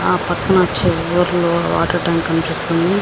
ఆ పక్కన చివర్లో వాటర్ ట్యాంక్ ని చూస్తున్నాం.